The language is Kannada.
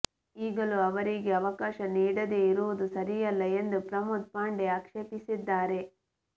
ಈಗಲೂ ಅವರಿಗೆ ಅವಕಾಶ ನೀಡದೆ ಇರುವುದು ಸರಿಯಲ್ಲ ಎಂದು ಪ್ರಮೋದ್ ಪಾಂಡೆ ಆಕ್ಷೇಪಿಸಿದ್ದಾರೆ